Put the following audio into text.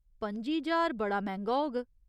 पं'जी ज्हार बड़ा मैंह्गा होग।